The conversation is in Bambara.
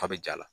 K'a bɛ ja